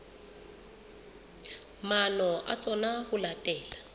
maano a tsona ho latela